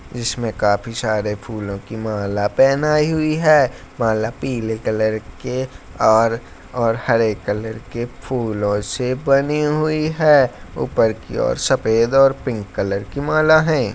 जिसमें काफी सारे फूलों कि माला पहनाई हुई है माला पीले कलर के और और हरे कलर के फूलों से बनी हुई है ऊपर की और सफेद और पिंक कलर की माला है।